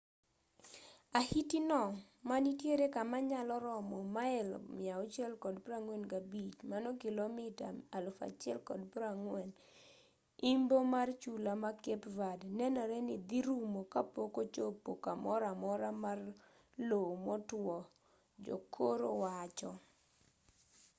ahiti no ma nitiere kama nyalo romo mail 645 kilomita 1040 imbo mar chula ma cape verde nenore ni dhi rumo kapok ochopo kamoro amora mar lowo motwo jokoro wacho